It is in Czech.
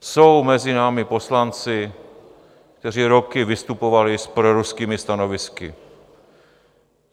Jsou mezi námi poslanci, kteří roky vystupovali s proruskými stanovisky.